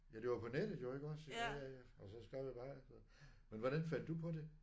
Ja det var på nettet jo iggås ja ja ja og så skrev jeg bare. Men hvordan fandt du på det?